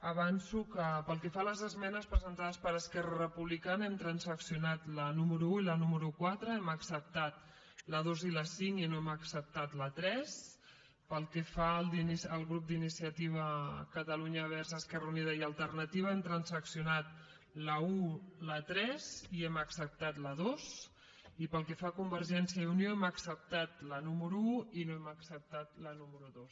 avanço que pel que fa a les esmenes presentades per esquerra republicana hem transaccionat la número un i la número quatre hem acceptat la dos i la cinc i no hem acceptat la tres pel que fa al grup d’iniciativa per catalunya verds esquerra unida i alternativa hem transaccionat l’un i la tres i hem acceptat la dos i pel que fa a convergència i unió hem acceptat la número un i no hem acceptat la número dos